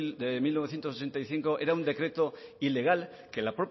mil novecientos ochenta y cinco era un decreto ilegal que la